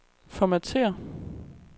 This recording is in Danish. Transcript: formatér